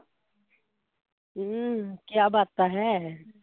ਹਮ ਕਿਆ ਬਾਤਾਂ ਹੈ